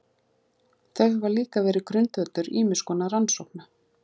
Þau hafa líka verið grundvöllur ýmiss konar rannsókna.